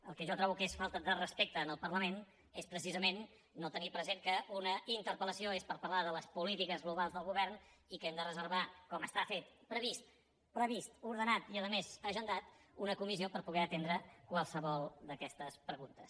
el que jo trobo que és falta de respecte al parlament és precisament no tenir present que una interpellació és per parlar de les polítiques globals del govern i que hem de reservar com està previst ordenat i a més agendat una comissió per poder atendre qualsevol d’aquestes preguntes